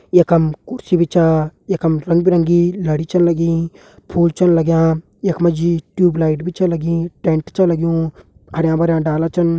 यखम कुर्सी भी च यखम रंग बिरंगी लड़ी छन लगीं फूल छन लग्याँ यखमाजी टियूबलाइट भी छ लगीं टेंट भी छ लग्युं हरा भरा डाला छन।